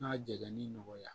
N'a jɛlen nɔgɔya